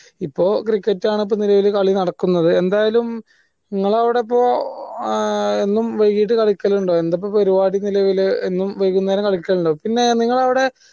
ഇപ്പൊ cricket ആൺ നിലവിൽ കളി നടക്കുന്നത് എന്തായാലും ഇങ്ങള അവിടെയിപ്പോ ആഹ് എന്നും വൈകിട്ട് കളിക്കലുണ്ടോ എന്താ ഇപ്പൊ പരുവാടി നിലവിൽ എന്നും വൈകുന്നേരം കളിക്കലുണ്ടോ പിന്നേ നിങ്ങളവിടെ